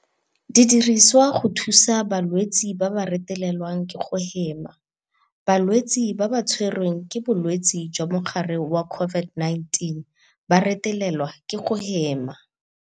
Di dirisiwa go thusa balwetse ba ba retelelwang ke go hema. Balwetse ba ba tshwe rweng ke bolwetse jwa mogare wa COVID-19 ba retelelwa ke go hema.